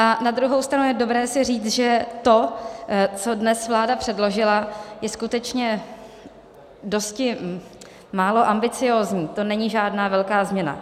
A na druhou stranu je dobré si říct, že to, co dnes vláda předložila, je skutečně dosti málo ambiciózní, to není žádná velká změna.